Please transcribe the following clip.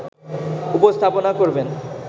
উপস্থাপনা করবেন